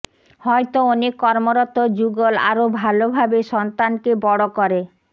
হয়তো অনেক কর্মরত যুগল আরও ভাল ভাবে সন্তানকে বড় করে